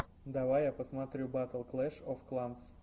давай я посмотрю батл клэш оф кланс